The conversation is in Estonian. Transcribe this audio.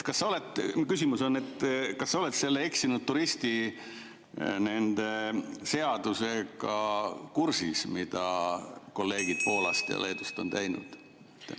Mu küsimus on: kas sa oled selle eksinud turisti seadusega kursis, mille kolleegid Poolast ja Leedust on teinud?